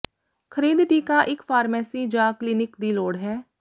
ਖਰੀਦ ਟੀਕਾ ਇੱਕ ਫਾਰਮੇਸੀ ਜ ਕਲੀਨਿਕ ਦੀ ਲੋੜ ਹੈ